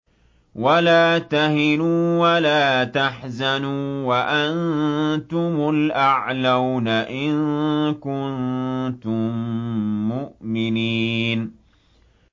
وَلَا تَهِنُوا وَلَا تَحْزَنُوا وَأَنتُمُ الْأَعْلَوْنَ إِن كُنتُم مُّؤْمِنِينَ